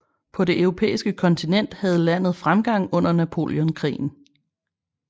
På det europæiske kontinent havde landet fremgang under Napoleonkrigene